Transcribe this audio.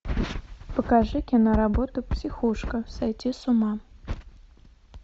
покажи киноработу психушка сойти с ума